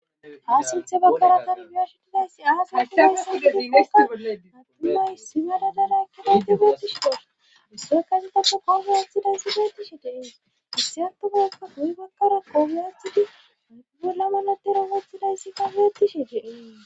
ha sinthe bakkara kangiyashitidayssi aasartinay san gidigea attumay simadadadakkedatte geetishi do sokazitako kogiyathidaysi geetishi dees issi hattugayakka guyi bakkara kogiyathidi adgulamalatera gathidayssi gaggetishi gee